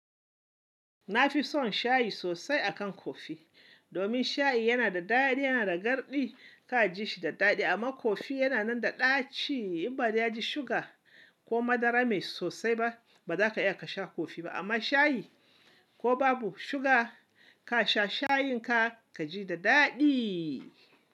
Na fi son shayi sosai akan kofi, domin shayi yana da daɗi, yana da garɗi ka ji shi da daɗi. Amma kofi yana nan da ɗaci. In ba da ya ji suga ko madara mai sosai ba, ba za ka iya ka sha kofi ba. Amma shayi ko babu suga, ka sha shayin ka ka ji da daɗi.